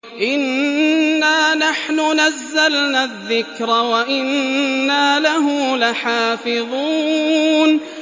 إِنَّا نَحْنُ نَزَّلْنَا الذِّكْرَ وَإِنَّا لَهُ لَحَافِظُونَ